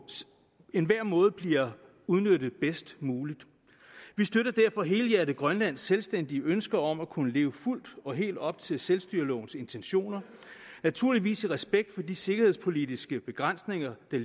enhver måde bliver udnyttet bedst muligt vi støtter derfor helhjertet grønlands selvstændige ønske om at kunne leve fuldt og helt op til selvstyrelovens intentioner naturligvis i respekt for de sikkerhedspolitiske begrænsninger der